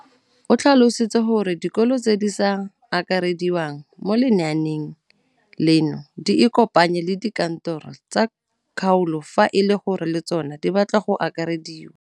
O tlhalositse gore dikolo tse di sa akarediwang mo lenaaneng leno di ikopanye le dikantoro tsa kgaolo fa e le gore le tsona di batla go akarediwa.